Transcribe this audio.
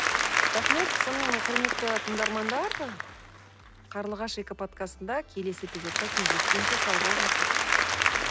рахмет сонымен құрметті тыңдармандар қарлығаш экоподкастында келесі эпизодта кездескенше сау болыңыздар